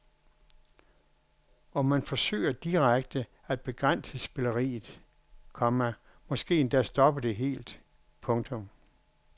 Og man forsøger direkte at begrænse spilleriet, komma måske endda stoppe det helt. punktum